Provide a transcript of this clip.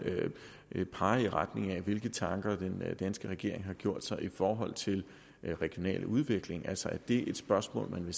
pege på hvilke tanker den danske regering har gjort sig i forhold til regional udvikling altså er det et spørgsmål man